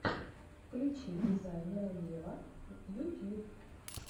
включи дизайнера вево ютьюб